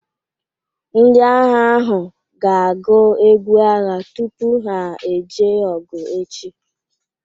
Ndị agha ahụ ga-agụ egwu agha tupu ha eje ọgụ echi